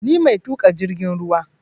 Ni mai tuƙa jirgin ruwa